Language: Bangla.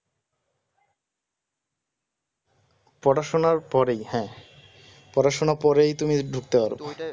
পড়াশুনার পরেই হ্যাঁ পড়াশোনা পরেই তুমি ধরতে পারবা